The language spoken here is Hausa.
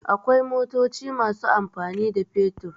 Akwai motoci masu amfani da fetur.